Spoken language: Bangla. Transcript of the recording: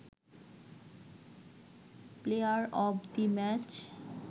player of the match